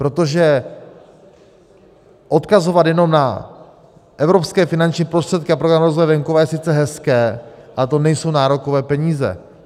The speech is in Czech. Protože odkazovat jenom na evropské finanční prostředky a Program rozvoje venkova je sice hezké, ale to nejsou nárokové peníze.